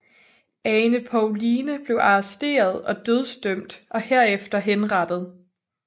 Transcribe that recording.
Ane Povline blev arresteret og dødsdømt og herefter henrettet